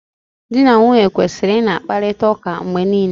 Di na nwunye kwesịrị ị na-akparịta ụka mgbe niile.